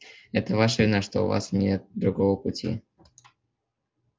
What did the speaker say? это ваша вина что у вас нет другого пути